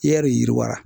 I yɛrɛ de yiriwa